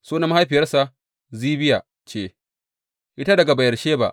Sunan mahaifiyarsa Zibiya ce; ita daga Beyersheba.